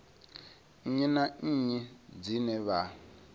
nnyi na nnyi dzine vha